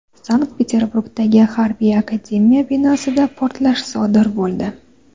Sankt-Peterburgdagi Harbiy akademiya binosida portlash sodir bo‘ldi.